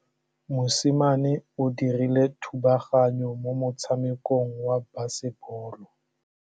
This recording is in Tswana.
Mosimane o dirile thubaganyô mo motshamekong wa basebôlô.